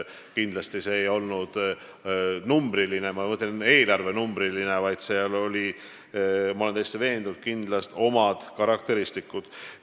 Kindlasti see ei olnud numbriline, ma mõtlen eelarvenumbriline, vaid seal olid teatud karakteristikud.